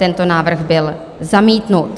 Tento návrh byl zamítnut.